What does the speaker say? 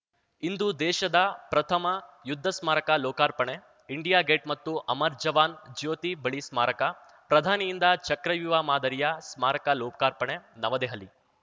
ಇಂದು ದೇಶದ ಪ್ರಥಮ ಯುದ್ಧ ಸ್ಮಾರಕ ಲೋಕಾರ್ಪಣೆ ಇಂಡಿಯಾ ಗೇಟ್‌ ಮತ್ತು ಅಮರ್ ಜವಾನ್‌ ಜ್ಯೋತಿ ಬಳಿ ಸ್ಮಾರಕ ಪ್ರಧಾನಿಯಿಂದ ಚಕ್ರವ್ಯೂಹ ಮಾದರಿಯ ಸ್ಮಾರಕ ಲೋಕಾರ್ಪಣೆ ನವದೆಹಲಿ